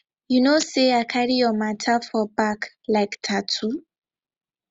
you know say i carry your matter for back like tattoo